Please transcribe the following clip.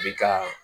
Bi ka